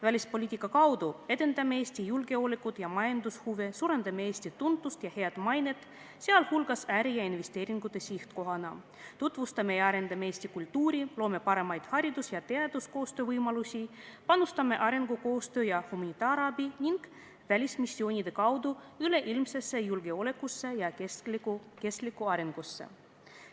Välispoliitika kaudu edendame Eesti julgeolekut ja majandushuve, suurendame Eesti tuntust ja head mainet, sh äri- ja investeeringute sihtkohana, tutvustame ja arendame Eesti kultuuri, loome paremaid haridus- ja teaduskoostöö võimalusi, panustame arengukoostöö ja humanitaarabi ning välismissioonide kaudu üleilmsesse julgeolekusse ja kestlikku arengusse.